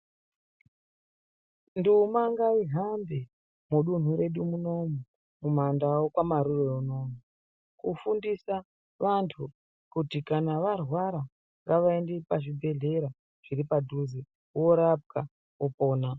Ndima ngaihambe mudunhu redu muno umu, kumandau kwamarure kunoku. Kufundisa vantu kuti kana varwara ngavaende pazvibhedhlera zviripadhuze voorapwa vopona.